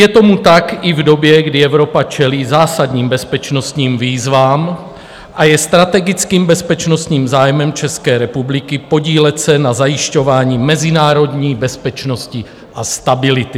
Je tomu tak i v době, kdy Evropa čelí zásadním bezpečnostním výzvám, a je strategickým bezpečnostním zájmem České republiky podílet se na zajišťování mezinárodní bezpečnosti a stability.